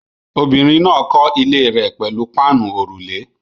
Obìnrin náà kọ́ ilé rẹ̀ pẹ̀lú páànù òrùlé